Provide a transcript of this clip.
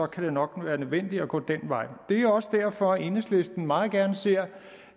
kan det nok være nødvendigt at gå den vej det er også derfor at enhedslisten meget gerne ser